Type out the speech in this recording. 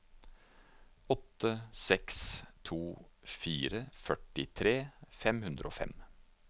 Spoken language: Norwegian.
åtte seks to fire førtitre fem hundre og fem